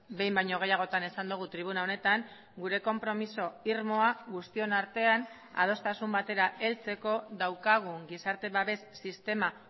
behin baino gehiagotan esan dugu tribuna honetan gure konpromiso irmoa guztion artean adostasun batera heltzeko daukagun gizarte babes sistema